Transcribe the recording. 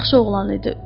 Yaxşı oğlan idi.